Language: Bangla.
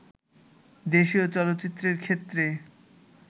দেশীয় চলচ্চিত্রের ক্ষেত্রে